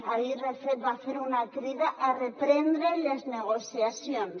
ahir de fet va fer una crida per reprendre les negociacions